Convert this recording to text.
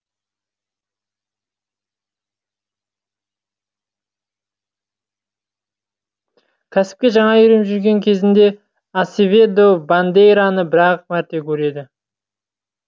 кәсіпке жаңа үйреніп жүрген кезінде асеведо бандейраны бір ақ мәрте көреді